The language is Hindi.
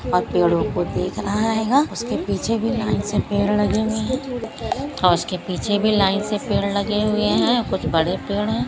और पेड़ो को देख रहा है उसके पीछे भी लाइन से पेड़ लगे हुए है और उसके पीछे भी लाइन से पेड़ लगे हुए है कुछ बड़े पेड़ है।